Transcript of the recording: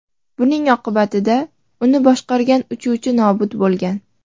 Buning oqibatida uni boshqargan uchuvchi nobud bo‘lgan.